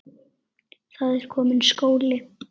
Það er kominn skóli.